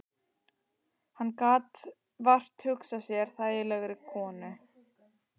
Hann gat vart hugsað sér þægilegri konu.